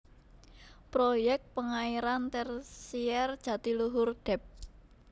Proyek Pengairan Tersier Jatiluhur Dep